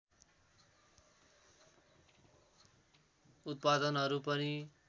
उत्पादनहरू पनि